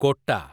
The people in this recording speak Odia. କୋଟା